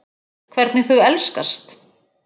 Hvernig þau elskast.